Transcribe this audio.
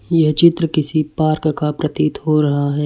यह चित्र किसी पार्क का प्रतीत हो रहा है।